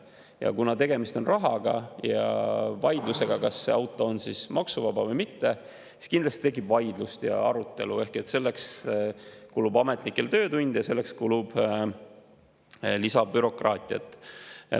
Ja kuna tegemist on rahaga ja vaidlusega, kas see auto on maksuvaba või mitte, siis kindlasti tekib vaidlust ja arutelu ning selleks kulub ametnikel töötunde ja selleks kulub lisabürokraatiat.